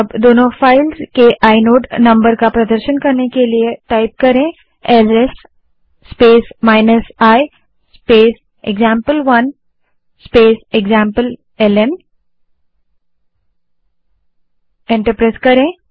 अब दोनों फाइल्स के आइनोड नंबर का प्रदर्शन करने के लिए ls space i space example one space एक्जाम्पलेल्न कमांड टाइप करें और एंटर दबायें